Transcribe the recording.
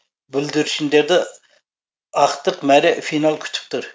бүлдіршіндерді ақтық мәре финал күтіп тұр